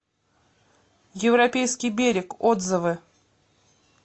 европейский берег отзывы